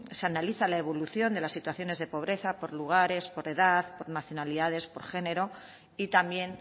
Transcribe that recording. se analiza la evolución de las situaciones de pobreza por lugares por edad por nacionalidades por género y también